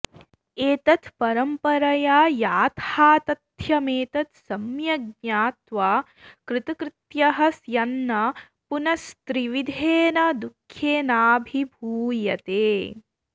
एतत् परम्परया याथातथ्यमेतत् सम्यग् ज्ञात्वा कृतकृत्यः स्यान्न पुनस्त्रिविधेन दुःखेनाभिभूयते